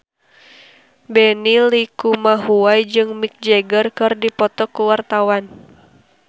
Benny Likumahua jeung Mick Jagger keur dipoto ku wartawan